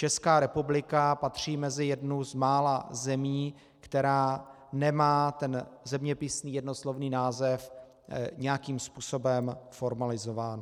Česká republika patří mezi jednu z mála zemí, která nemá ten zeměpisný jednoslovný název nějakým způsobem formalizován.